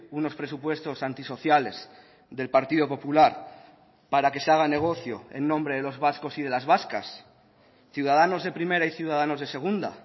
unos presupuestos anti sociales del partido popular para que se haga negocio en nombre de los vascos y de las vascas ciudadanos de primera y ciudadanos de segunda